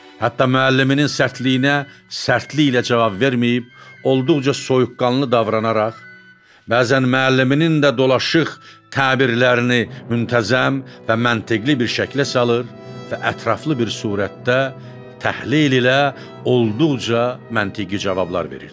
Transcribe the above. Hətta müəlliminin sərtliyinə sərtliklə cavab verməyib, olduqca soyuqqanlı davranaraq, bəzən müəlliminin də dolaşıq təbirlərini müntəzəm və məntiqi bir şəklə salır və ətraflı bir surətdə təhlil ilə olduqca məntiqi cavablar verirdi.